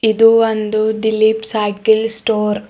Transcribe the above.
ಇದು ಒಂದು Dilip cycle store .